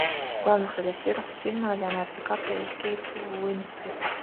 в главных ролях фильма леонардо ди каприо и кейт уинслет